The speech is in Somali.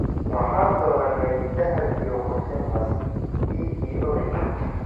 waxaan dooranay dahab iyo qurxin cas (dhiiggii odayga).